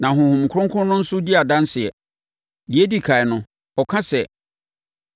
Na Honhom Kronkron no nso di adanseɛ. Deɛ ɛdi ɛkan no, ɔka sɛ,